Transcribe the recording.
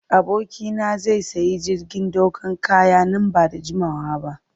Abokina zai sayi jirgin dakon kaya nan ba da jimawa ba.